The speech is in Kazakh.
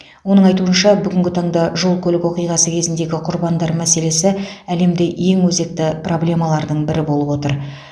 оның айтуынша бүгінгі таңда жол көлік оқиғасы кезіндегі құрбандар мәселесі әлемде ең өзекті проблемалардың бірі болып отыр